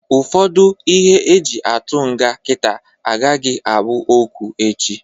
Ụfọdụ ihe e ji atụ nga kita agaghị abụ okwu echi.